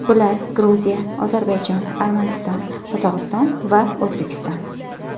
Bular Gruziya, Ozarbayjon, Armaniston, Qozog‘iston va O‘zbekiston.